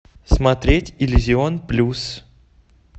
смотреть иллюзион плюс